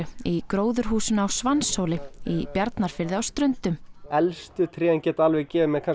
í gróðurhúsinu á Svanshóli í Bjarnarfirði á Ströndum elstu trén geta gefið mér